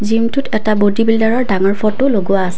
জিমটোত এটা বডি বিল্ডাৰৰ ডাঙৰ ফটো লগোৱা আছে।